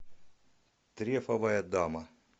трефовая дама